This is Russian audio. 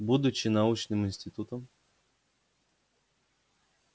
будучи научным институтом